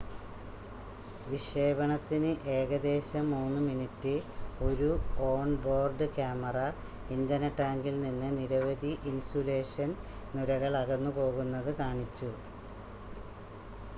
വിക്ഷേപണത്തിന് ഏകദേശം 3 മിനിറ്റ് ഒരു on board camera ഇന്ധന ടാങ്കിൽ നിന്ന് നിരവധി ഇൻസുലേഷൻ നുരകൾ അകന്നുപോകുന്നത് കാണിച്ചു